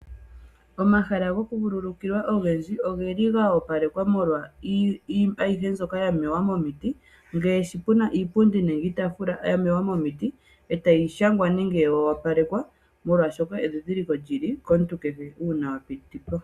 Omahala gokuvululukilwa ogendji ogeli ga opalekwa molwa iinima ayihe mbyoka ya mewa momiiti, ngaashi puna iipundi nenge iitafula ya mewa momiiti eta yi shangwa nenge ya wopalekwa molwashoka edhidhiliko lyi li komuntu kehe una apiti po.